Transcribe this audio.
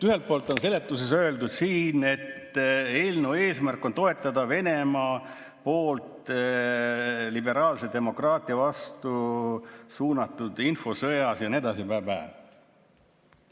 Ühelt poolt on seletus öeldud, et eelnõu eesmärk on toetada "Venemaa poolt liberaalse demokraatia vastu suunatud infosõjas" ja nii edasi, blä-blä.